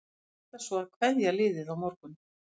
Hann ætlar svo að kveðja liðið á morgun.